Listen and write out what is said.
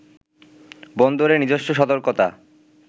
বন্দরে নিজস্ব সতর্কতা